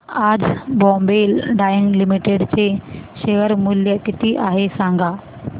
आज बॉम्बे डाईंग लिमिटेड चे शेअर मूल्य किती आहे सांगा